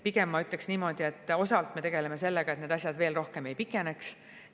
Pigem ma ütleks niimoodi, et me tegeleme sellega, et asjad veel rohkem ei pikeneks.